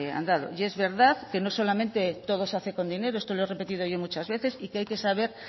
andado y es verdad que no solamente todo se hace con dinero esto lo he repetido yo muchas veces y que hay que saber